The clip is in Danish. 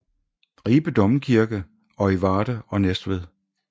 Ribe Domkirke og i Varde og Næstved